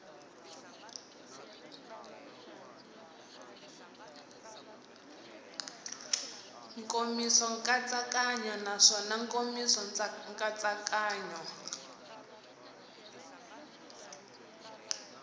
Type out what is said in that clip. nkomiso nkatsakanyo naswona nkomiso nkatsakanyo